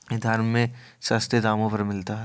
इधर में सस्ते दामों पर मिलता है।